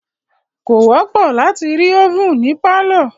Kò wọ́pọ̀ láti rí ovèn ní pálọ̀.